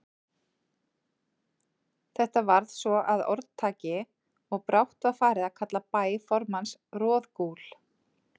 Þetta varð svo að orðtaki, og brátt var farið að kalla bæ formanns Roðgúl.